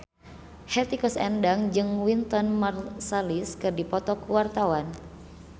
Hetty Koes Endang jeung Wynton Marsalis keur dipoto ku wartawan